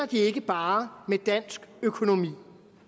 de ikke bare med dansk økonomi